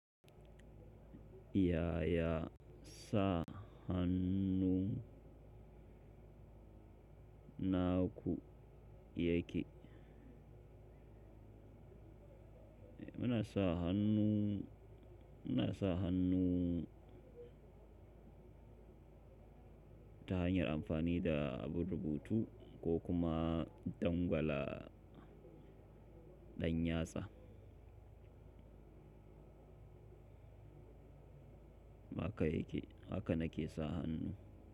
Ya ya sa hannu naku yake? Muna sa hannu, muna sa hannu ta hanyar amfani da abun rubutu ko kuma dangwala ɗanyatsa. Haka yake, haka nake sa hannu.